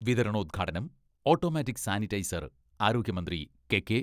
വിതരണോദ്ഘാടനം automatic sanitiser ആരോഗ്യമന്ത്രി K K.